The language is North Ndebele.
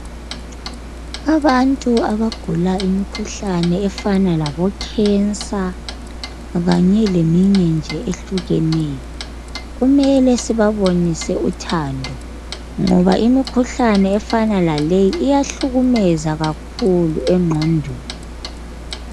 Abantu abagulayo imkhuhlane efana labo khensa kanye leminye nje ehlukeneyo kumele sibabonisise uthando ngoba imkhuhlane efana laleyi iyahlukumeza kakhulu engqondweni.